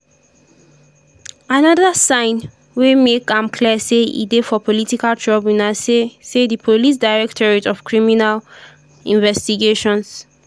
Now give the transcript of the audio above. anoda sign wey make am clear say e dey for political trouble na say say di police directorate of criminal investigations